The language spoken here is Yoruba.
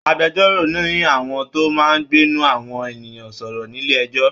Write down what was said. Agbẹjọ́rò ni àwọn tó máa ń gbẹnu àwọn ènìyàn sọ̀rọ̀ nílé ẹ̀jọ́